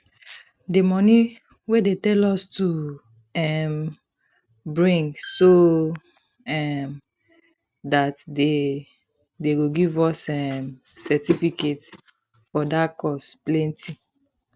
the money wey dey tell us to um bring so um dat dey dey go give us um certificate for dat course plenty